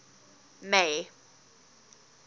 may